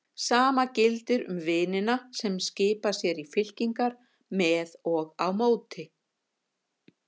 Sama gildir um vinina sem skipa sér í fylkingar með og á móti.